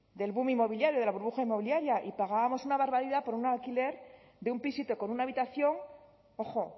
del boom inmobiliario de la burbuja inmobiliaria y pagábamos una barbaridad por un alquiler de un pisito con una habitación ojo